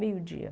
Meio dia.